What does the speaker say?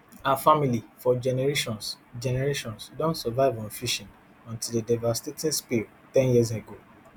her family for generations generations don survive on fishing until a devastating spill ten years ago